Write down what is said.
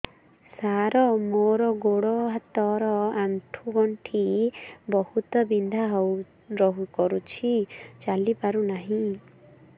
ସାର ମୋର ଗୋଡ ହାତ ର ଆଣ୍ଠୁ ଗଣ୍ଠି ବହୁତ ବିନ୍ଧା କରୁଛି ଚାଲି ପାରୁନାହିଁ